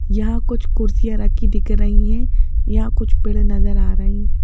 यहां कुछ कुर्सियां रखी दिख रही है यहां कुछ पेड़ नजर आ रही है।